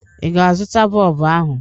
Ị ga-azụta bọlbụ ahụ?